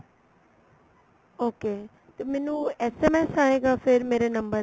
okay ਤੇ ਮੈਨੂੰ SMS ਆਏਗਾ ਫੇਰ ਮੇਰੇ ਨੰਬਰ ਤੇ